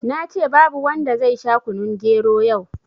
Nace babu wanda zai sha kunun gero yau